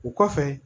O kɔfɛ